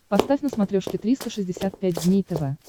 поставь на смотрешке триста шестьдесят пять дней тв